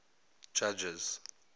judges